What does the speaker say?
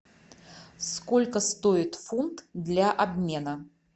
сколько стоит фунт для обмена